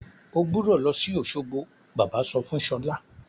O gbúdọ̀ lọ sí Òsogbo! Bàbá sọ fún Ṣọlá.